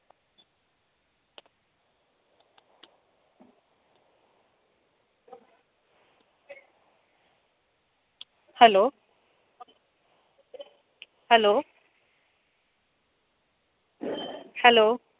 Hello hello hello